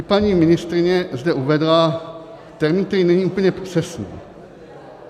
I paní ministryně zde uvedla termín, který není úplně přesný.